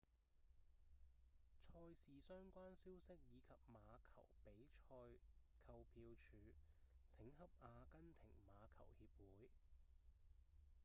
賽事相關消息以及馬球比賽購票處請洽阿根廷馬球協會